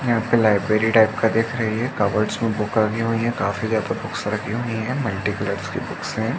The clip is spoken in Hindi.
यहाँ पे लाइब्रेरी टाइप का दिख रही है। कबर्ट्स में बुक रखी हुई हैं। काफी ज्यादा बुक्स रखी हुई हैं। मल्टीकलर्स की बुक्स हैं।